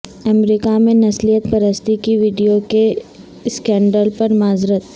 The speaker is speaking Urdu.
امریکہ میں نسلیت پرستی کی ویڈیو کے اسکینڈل پر معذرت